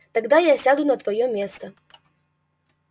тогда я сяду на твоё место